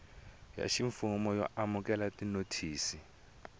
ya ximfumo yo amukela tinothisi